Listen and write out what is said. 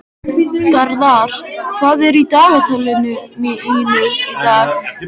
Gerðar, hvað er í dagatalinu mínu í dag?